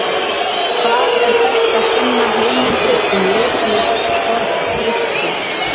Hvar er best að finna heimildir um leiklist Forn-Grikkja?